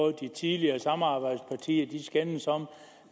at de tidligere samarbejdspartier skændes om